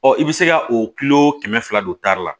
Ɔ i bɛ se ka o kilo kɛmɛ fila don tari la